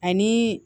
Ani